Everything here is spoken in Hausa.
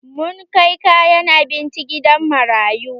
Mun kai kayan abinci gidan marayu.